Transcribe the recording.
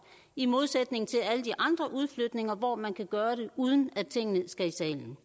i modsætning til alle de andre udflytninger hvor man kan gøre det uden at tingene skal i salen